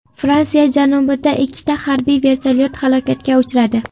Fransiya janubida ikkita harbiy vertolyot halokatga uchradi.